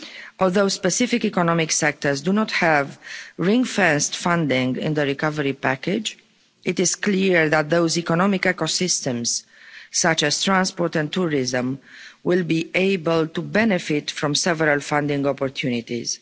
Although specific economic sectors do not have ring fenced funding in the recovery package, it is clear that those economic ecosystems, such as transport and tourism, will be able to benefit from several funding opportunities.